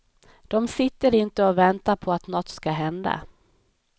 De sitter inte och väntar på att något ska hända.